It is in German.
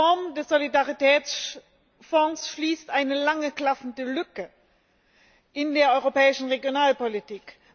Die Reform des Solidaritätsfonds schließt eine lange klaffende Lücke in der europäischen Regionalpolitik.